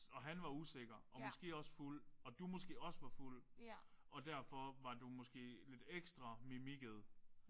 Og han var usikker og måske også fuld. Og du måske også var fuld og derfor var du måske lidt ekstra mimikket